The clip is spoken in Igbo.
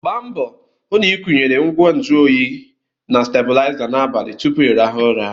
Gba mbọ hụ na ị kwụyere ngwa nju oyi na stebụlaiza n'abalị tupu ịrahụ ụra!